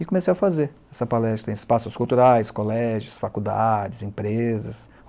E comecei a fazer essa palestra em espaços culturais, colégios, faculdades, empresas.